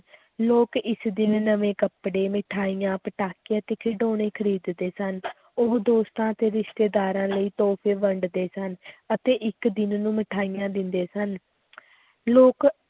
ਲੋਕ ਇਸ ਦਿਨ ਨਵੇਂ ਕੱਪੜੇ ਮਿਠਾਈਆਂ, ਪਟਾਕੇ ਅਤੇ ਖਿਡੌਣੇ ਖ਼ਰੀਦਦੇ ਸਨ ਉਹ ਦੋਸਤਾਂ ਅਤੇ ਰਿਸ਼ਤੇਦਾਰਾਂ ਲਈ ਤੋਹਫ਼ੇ ਵੰਡਦੇ ਸਨ ਅਤੇ ਇੱਕ ਦਿਨ ਨੂੰ ਮਿਠਾਈਆਂ ਦਿੰਦੇ ਸਨ ਲੋਕ